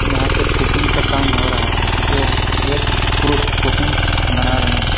यहाँ पे कुकिंग का काम हो रहा हैजो एक पुरुष कुकिंग बना रहे है।